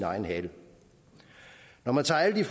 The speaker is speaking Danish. egen hale når man tager alle